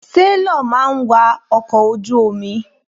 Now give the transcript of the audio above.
Sélọ̀ máa ń wa ọkọ̀ ojú omi.